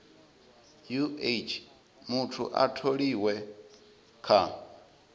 uh muthu a tholiwe kha